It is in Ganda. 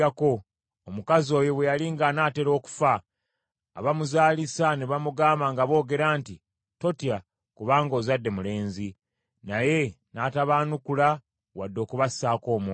Omukazi oyo bwe yali ng’anaatera okufa, abamuzaalisa ne bamugamba nga boogera nti, “Totya, kubanga ozadde mulenzi.” Naye n’atabaanukula wadde okubassaako omwoyo.